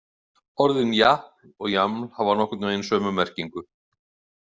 Orðin japl og jaml hafa nokkurn veginn sömu merkingu.